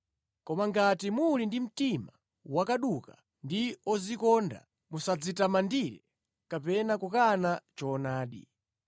Koma ngati muli ndi mtima wakaduka ndi odzikonda, musadzitamandire kapena kukana choonadi.